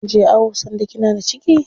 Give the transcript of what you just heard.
Kinje awo sanda kina da ciki?